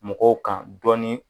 Mɔgɔw kan dɔɔnin